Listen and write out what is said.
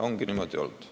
Ongi niimoodi!